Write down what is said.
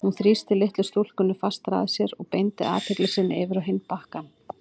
Hún þrýsti litlu stúlkunni fastar að sér og beindi athygli sinni yfir á hinn árbakkann.